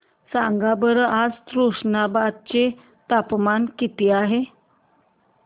सांगा बरं आज तुष्णाबाद चे तापमान किती आहे